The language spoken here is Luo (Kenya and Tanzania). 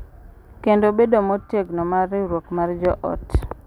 Kendo bedo motegno mar riwruok mar joot.